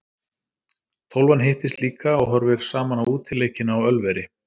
Tólfan hittist líka og horfir saman á útileikina á Ölveri.